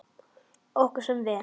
Okkur semur vel